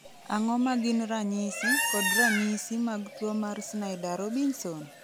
Ang'o ma gin ranyisi kod ranyisi mag tuo mar Snyder Robinson?